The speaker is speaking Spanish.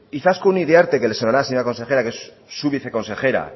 izaskun iriarte que le sonará señora consejera que es su viceconsejera